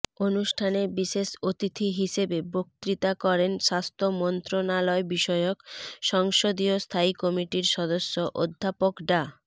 অনুষ্ঠানে বিশেষ অতিথি হিসেবে বক্তৃতা করেন স্বাস্থ্য মন্ত্রণালয় বিষয়ক সংসদীয় স্থায়ী কমিটির সদস্য অধ্যাপক ডা